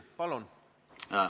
Palun!